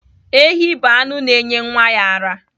Ehi bụ anụ na-enye ụmụ ya ara.